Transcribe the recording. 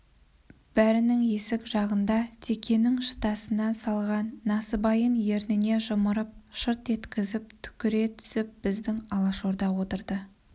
бәрінің есік жағында текенің шытасына салған насыбайын ерніне жымырып шырт еткізіп түкіре түсіп біздің алашорда отырды